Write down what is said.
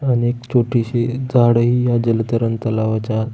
अनेक छोटीशी इ झाडही या जल तरंगता तलावाचा--